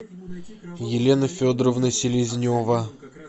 елена федоровна селезнева